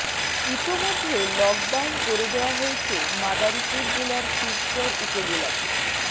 ইতোমধ্যে লকডাউন করে দেয়া হয়েছে মাদারীপুর জেলার শিবচর উপজেলাকে